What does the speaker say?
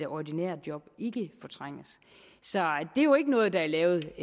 ordinære job ikke fortrænges så det er jo ikke noget der er lavet